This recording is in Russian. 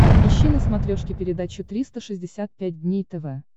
ищи на смотрешке передачу триста шестьдесят пять дней тв